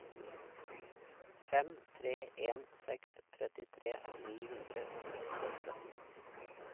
fem tre en seks trettitre ni hundre og sekstiåtte